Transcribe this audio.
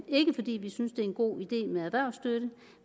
ikke fordi vi synes det er en god idé med erhvervsstøtte